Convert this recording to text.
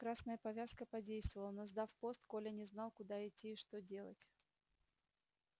красная повязка подействовала но сдав пост коля не знал куда идти и что делать